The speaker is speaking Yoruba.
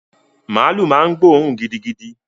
Màálú ma ń gbóòrún gidigidi